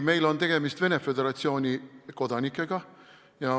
Meil on tegemist paljude Venemaa Föderatsiooni kodanikega.